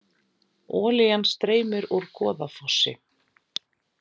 Olían streymir úr Goðafossi